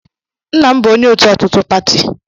Nna m bụ onye otu ọtụtụ pati.